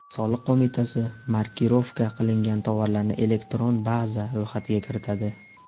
Soliq qo‘mitasi markirovka qilingan tovarlarni elektron baza ro‘yxatiga kiritadi.